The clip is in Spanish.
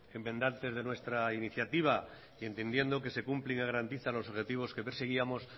enmendantes de nuestra iniciativa y entendiendo que se cumplen y garantizan los objetivos que perseguíamos